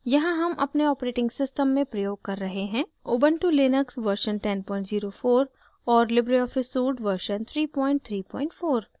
यहाँ हम अपने operating system में प्रयोग कर रहे हैं ubuntu लिनक्स version 1004 और libreoffice suite version 334